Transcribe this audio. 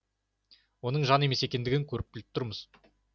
оның жан емес екендігін көріп біліп тұрмыз